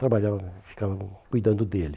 Trabalhava, ficava cuidando dele.